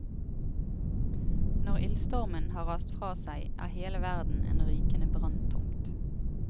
Når ildstormen har rast fra seg, er hele verden en rykende branntomt.